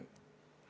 Aitäh!